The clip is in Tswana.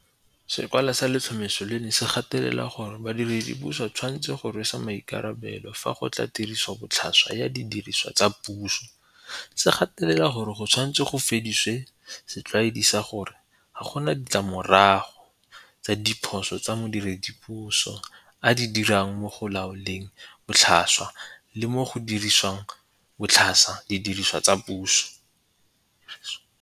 Sekwalwa sa letlhomeso leno se gatelela gore badiredipuso ba tshwanetse go rweswa maikarabelo fa go tla mo tirisobotlhasweng ya didirisiwa tsa puso, se gatelela gore go tshwanetse go fedisiwe setlwaedi sa gore ga gona ditlamorago tsa diphoso tse modiredipuso a di dirang mo go laoleng botlhaswa le mo go diriseng botlhaswa didiriswa tsa puso.